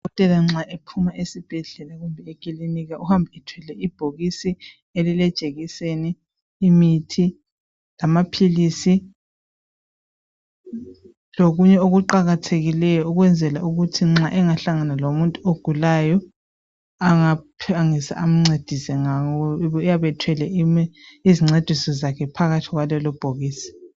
Udokotela nxa ephuma esibhedlela kumbe ekilinika uhamba ethwele ibhokisi elilejekiseni, imithi lamaphilisi lokunye okuqakathekileyo ukwenzela ukuthi nxa engahlangana lomuntu ogulayo angaphangisa amncedise ngawo uyabe ethwele izincediso zakhe phakathi kwalelo bhokisi.